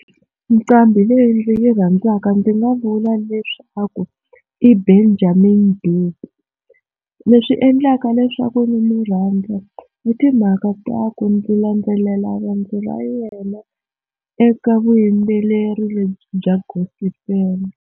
Nqambhi leyi ndzi yi rhandzaka ndzi nga vula leswaku i Benjamin Dube leswi endlaka leswaku ndzi mu rhandza i timhaka ta ku ndzi landzelela ra yena eka vuyimbeleri lebyi bya gosipeli.